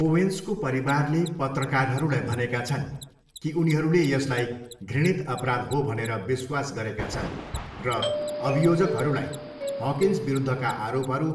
ओवेन्सको परिवारले पत्रकारहरूलाई भनेका छन् कि उनीहरूले यसलाई घृणित अपराध हो भनेर विश्वास गरेका छन् र अभियोजकहरूलाई हकिन्स विरुद्धका आरोपहरू